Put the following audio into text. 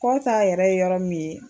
Ko t'a yɛrɛ ye yɔrɔ min ye.